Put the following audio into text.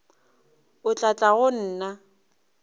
o tla tla go nna